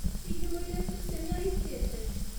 Hihi mũirĩtu ũcio nĩ ahikĩte?